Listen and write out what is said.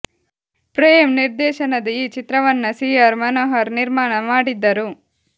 ಪ್ರೇಮ್ ನಿರ್ದೇಶನದ ಈ ಚಿತ್ರವನ್ನ ಸಿ ಆರ್ ಮನೋಹರ್ ನಿರ್ಮಾಣ ಮಾಡಿದ್ದರು